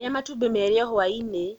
Rĩa matumbĩ merĩ o hwai-inĩ